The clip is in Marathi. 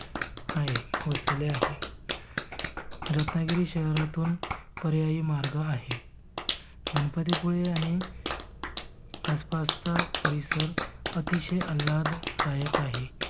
आहे वसलेले आहे. रत्नागिरी शहरातून पर्यायी मार्ग आहे. गणपती पुळे आणि आस पासचा परिसर अतिशय आल्हाददायक आहे.